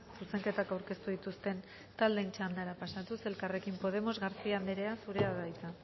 zuzenketak aurkeztu dituzte taldeen txandara pasatuz elkarrekin podemos garcía anderea zurea da hitza